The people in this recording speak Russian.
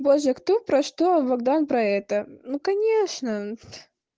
боже кто про что а богдан про это ну конечно